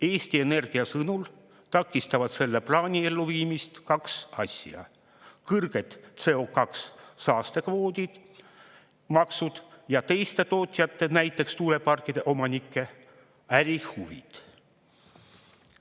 Eesti Energia sõnul takistavad selle plaani elluviimist kaks asja: kõrged CO2-saastekvoodi maksud ja teiste tootjate, näiteks tuuleparkide omanike ärihuvid.